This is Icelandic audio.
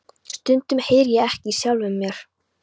Stundum heyri ég ekki í sjálfum mér.